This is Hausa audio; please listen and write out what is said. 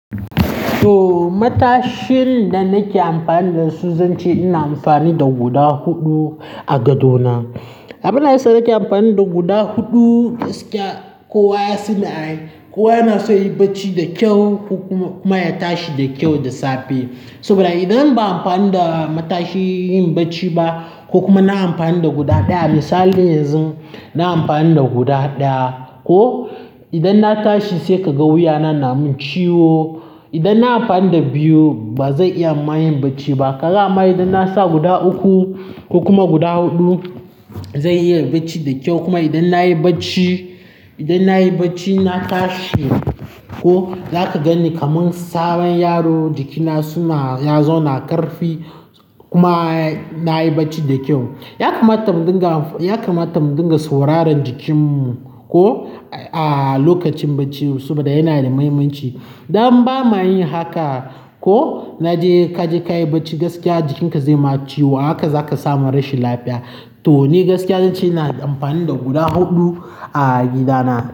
To, matashin da nake amfani da su zan ce ina amfani da guda huɗu a gado na. Abin da yasa nake amfani da guda huɗu gaskiya kowa ya sanni. Kowa yana so ya yi barci da kyau kuma ya tashi da kyau da safe. Saboda idan ba a amfani da matashi yin barci ba ko kuma na amfani da guda ɗaya, misali yanzu na amfani da guda ɗaya ko idan na tashi sai ka ga wuya na na mun ciwo. Idan na amfani da biyu ba zan iya ma yin barci ba. Ka amma idan na sa guda uku ko kuma guda huɗu zan iya barci da kyau kuma idan na yi barci, idan na yi barci na tashi ko zaka gan ni kamar sabon yaro. Jikina suna, ya zauna ƙarfi kuma na yi barci da kyau. Ya kamata mu dinga, ya kamata mu dinga sauraron jikinmu ko a lokacin barci saboda yana da muhimmanci. Idan ba ma yin haka ko na je kaje kayi barci gaskiya jikinka zai ma ciwo, haka zaka samu rashin lafiya. To ni gaskiya zan ce ina amfani da guda huɗu a gidana.